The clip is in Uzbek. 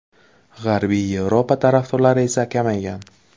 G‘arbiy Yevropa tarafdorlari esa kamaygan.